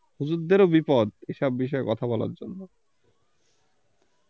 হুজুরদেরও বিপদ এসব বিষয়ে কথা বলার জন্য